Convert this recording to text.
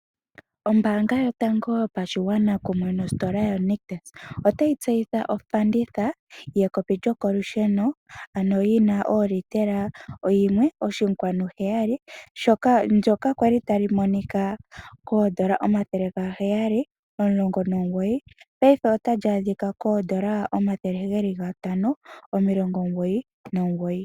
Ombaanga yotango yopashigwana kumwe nositola yo nictus otayi tseyitha ofanditha yekopi lyokolusheno ano li na olitela 1.7 ndyoka kwali tali monika N$719 paife otali adhika N$ 599.